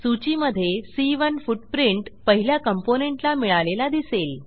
सूचीमधे सी1 फुटप्रिंट पहिल्या कॉम्पोनेंट ला मिळालेला दिसेल